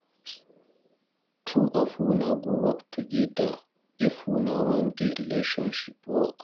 Two of una go work togeda if una wan make di relationship work.